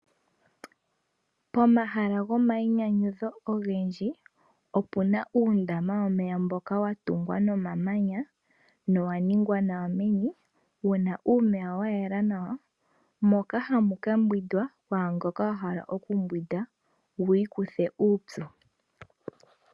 Pomahala gomayinyanyudho ogendji opuna uundama womeya mboka wa tungwa nomamanya na owa ningwa nawa meni . Owuna omeya gayela nawa moka hamu kiiyogwa kwaamboka yahala oku yoga yiikuthe uupyu.